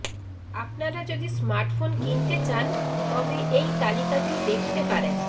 আপনারা যদি স্মার্টফোন কিনতে চান তবে এই তালিকাটি দেখতে পারেন